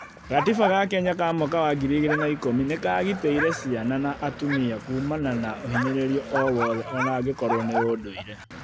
Gatiba ga kenya ka mwaka wa 2010 nĩkagitĩire ciana na atumia kuumana na ũhinyĩrĩria o wothe onangĩkorwo nĩ ũndũire